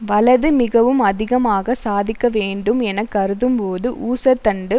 வலது மிகவும் அதிகமாக சாதிக்க வேண்டும் என கருதும்போது ஊசற்தண்டு